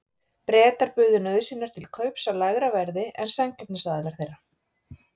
Bretar buðu nauðsynjar til kaups á lægra verði en samkeppnisaðilar þeirra.